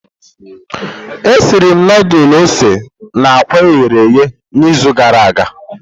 Esiri m ndulu ose na àkwá e ghere eghe n'izu gara aga.